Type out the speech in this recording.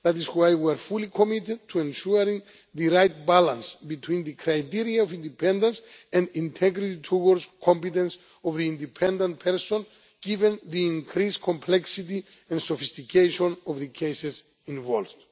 That is why we are fully committed to ensuring the right balance between the criteria of independence and integrity towards competence of the independent person, given the increased complexity and sophistication of the cases involved.